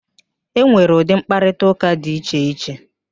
E nwere ụdị mkparịtaụ́ká di iche iche